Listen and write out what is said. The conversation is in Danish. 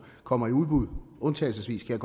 kommer i udbud undtagelsesvis kan